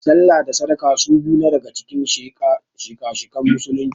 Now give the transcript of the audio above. sallah da sadaka su biyun na daga Cikin shika - shikan musulunci.